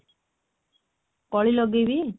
କଳି ଲଗେଇବି?